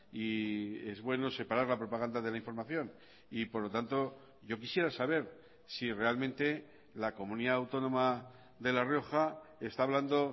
y es bueno separar la propaganda de la información y por lo tanto yo quisiera saber si realmente la comunidad autónoma de la rioja está hablando